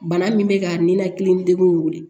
Bana min bɛ ka nin ninakili degun in wele